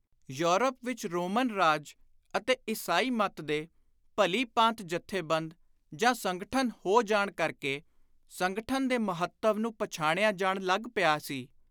Europe ਵਿਚ Roman ਰਾਜ ਅਤੇ ਈਸਾਈ ਮੱਤ ਦੇ ਭਲੀ-ਭਾਂਤ ਜਥੇਬੰਦ ਜਾਂ ਸੰਗਠਨ ਹੋ ਜਾਣ ਕਰਕੇ ਸੰਗਠਨ ਦੇ ਮਹੱਤਵ ਨੂੰ ਪਛਾਣਿਆ ਜਾਣ ਲੱਗ ਪਿਆ ਸੀ।